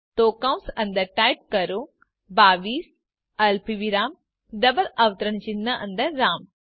તો કૌસ અંદર ટાઇપ કરો 22 અલ્પવિરામ ડબલ અવતરણ ચિહ્ન અંદર રામ